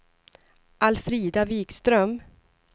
Alfrida Vikström